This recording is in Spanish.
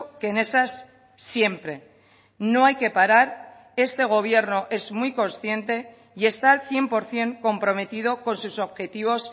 que en esas siempre no hay que parar este gobierno es muy consciente y está el cien por ciento comprometido con sus objetivos